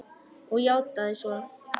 Og játað svo.